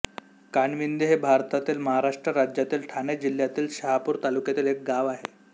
कानविंदे हे भारतातील महाराष्ट्र राज्यातील ठाणे जिल्ह्यातील शहापूर तालुक्यातील एक गाव आहे